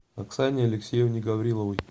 оксане алексеевне гавриловой